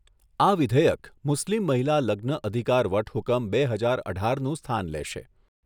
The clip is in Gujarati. આ વિધેયક મુસ્લીમ મહિલા લગ્ન અધિકાર વટહુકમ બે હજાર અઢારનું સ્થાન લેશે.